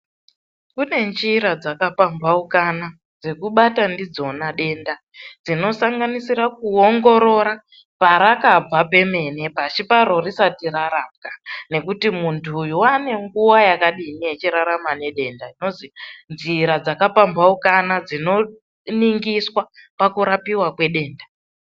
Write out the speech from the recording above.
Kune njira dzaka pamphaukana, dzekubata ndidzona denda, dzinosanganisira kuvheneka parakabva pemene pashi paro risati rarapwa. Ngekuti munthu uyu waane nguwa yakadini eipona nedenda. Ndidzo njira dzakapamphaukana dzinoningiswa pakurapiwa kwedenda.